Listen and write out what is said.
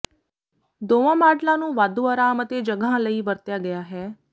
ਦੋਵਾਂ ਮਾਡਲਾਂ ਨੂੰ ਵਾਧੂ ਆਰਾਮ ਅਤੇ ਜਗ੍ਹਾ ਲਈ ਵਰਤਿਆ ਗਿਆ ਹੈ